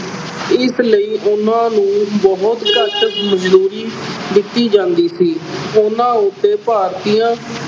ਇਸ ਲਈ ਉਹਨਾਂ ਨੂੰ ਬਹੁਤ ਘੱਟ ਮਜ਼ਦੂਰੀ ਦਿੱਤੀ ਜਾਂਦੀ ਸੀ। ਉਹਨਾਂ ਉੱਤੇ ਭਾਰਤੀਆਂ